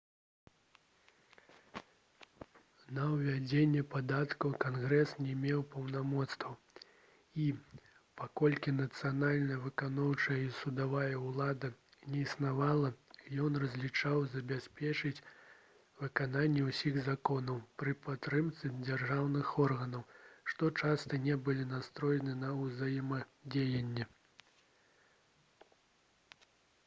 на ўвядзенне падаткаў кангрэс не меў паўнамоцтваў і паколькі нацыянальная выканаўчая і судовая ўлада не існавала ён разлічваў забяспечыць выкананне ўсіх законаў пры падтрымцы дзяржаўных органаў што часта не былі настроены на ўзаемадзеянне